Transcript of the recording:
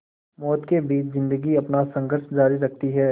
मौत के बीच ज़िंदगी अपना संघर्ष जारी रखती है